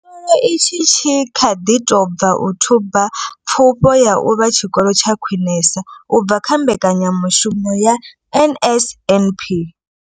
Tshikolo itshi tshi kha ḓi tou bva u thuba pfufho ya u vha tshikolo tsha khwinesa u bva kha mbekanyamushumo ya NSNP.